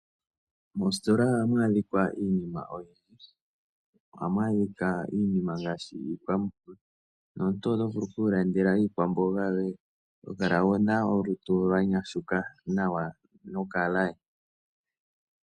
Mositola ohamu adhika iinima oyindji. Ohamu adhika iinima ngaashi iikwamboga nomuntu oto vulu oku ilandela iikwamboga yoye to kala wu na olutu lwa nyashuka nawa nokalaye.